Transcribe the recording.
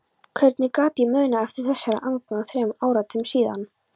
Hvernig gat ég munað eftir þessari angan þremur áratugum síðar?